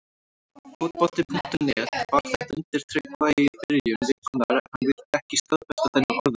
Fótbolti.net bar þetta undir Tryggva í byrjun vikunnar en hann vildi ekki staðfesta þennan orðróm.